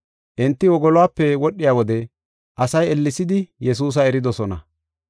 Enti wogoluwape wodhiya wode asay ellesidi Yesuusa eridosona.